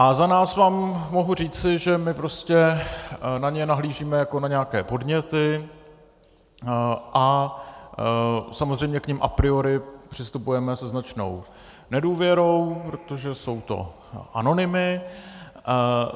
A za nás vám mohu říci, že my prostě na ně nahlížíme jako na nějaké podněty a samozřejmě k nim a priori přistupujeme se značnou nedůvěrou, protože jsou to anonymy.